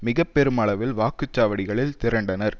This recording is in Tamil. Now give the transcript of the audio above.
மிக பெருமளவில் வாக்குச்சாவடிகளில் திரண்டனர்